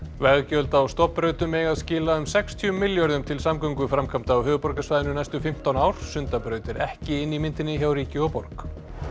veggjöld á stofnbrautum eiga að skila um sextíu milljörðum til samgönguframkvæmda á höfuðborgarsvæðinu næstu fimmtán ár Sundabraut er ekki inni í myndinni hjá ríki og borg